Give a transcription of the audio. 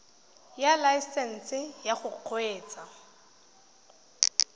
ya laesesnse ya go kgweetsa